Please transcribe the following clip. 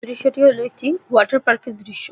দৃশ্যটি হলো একটি ওয়াটার পার্ক -এর দৃশ্য ।